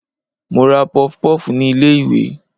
mo ra pofpof ni ilé iwe